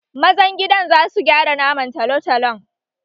Mazan gida za su gyara naman talotalon